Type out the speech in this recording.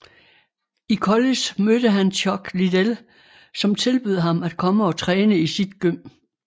I college mødte han Chuck Liddell som tilbød ham at komme og træne i sit gym